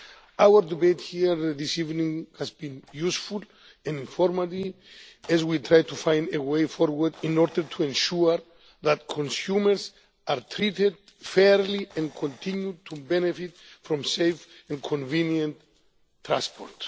Our debate here this evening has been useful and informative as we try to find a way forward in order to ensure that consumers are treated fairly and continue to benefit from safe and convenient transport.